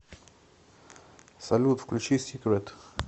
салют включи сикрэт